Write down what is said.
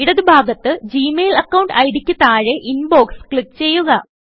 ഇടത് ഭാഗത്ത് Gmail account ID യ്ക്ക് താഴെ ഇൻബോക്സ് ക്ലിക്ക് ചെയ്യുക